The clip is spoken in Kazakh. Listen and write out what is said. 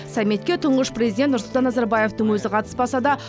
саммитке тұңғыш президент нұрсұлтан назарбаевтың өзі қатыспаса да